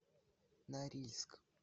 норильск